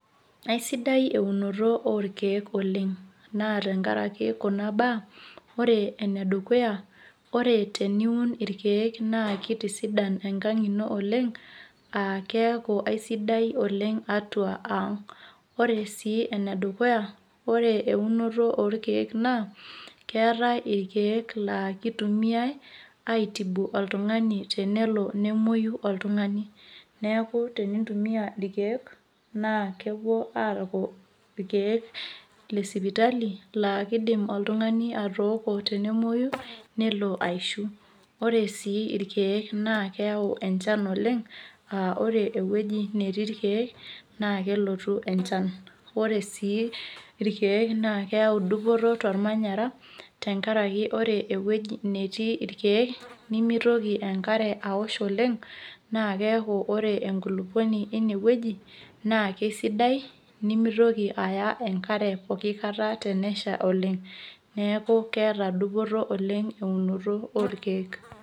Aisidai eunoto orkeek oleng' naa tenkaraki kuna baa ore enedukuya ore teniun irkeek naa kitisidan enkang' ino oleng' aa keeku aisidai oleng' atuaa ang' ore sii enedukuya ore eunoto orkeek naa keetai irkeek laa ekitumiyai aitibu oltung'ani tenelo nemuoyu oltung'ani, neeku tenintumia irkeek naa kepuoo aaku irkeek lesipitali kiidim oltung'ani atooko tenemuoyu nelo aishu, ore sii irkeek naa keau enchan oleng' aa ore ewueji netii irkeek naa kelotu enchan ore sii irkeek naa keyau dupoto tormanyara tenkaraki ore ewueji netii irkeek nemitoki enkare aosh oleng' naa keeku ore enkulukuoni naa kesidai nemitoki aya enkare pooki kata tenesha oleng', neeku keeta dupoto oleng' eunoto orkeek.